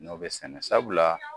N y'o bɛ sɛnɛ sabula